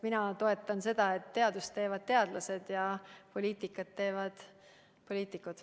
Mina toetan seda, et teadust teevad teadlased ja poliitikat teevad poliitikud.